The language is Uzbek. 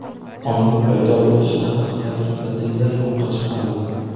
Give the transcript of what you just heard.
Oyning paydo bo‘lishi haqidagi gipoteza yo‘qqa chiqarildi.